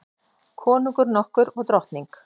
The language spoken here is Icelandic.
Konungur nokkur og drottning.